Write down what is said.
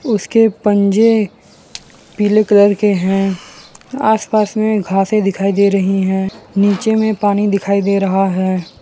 उसके पंजे पीले कलर के हैं आसपास में घासे दिखाई दे रही हैं नीचे में पानी दिखाई दे रहा है।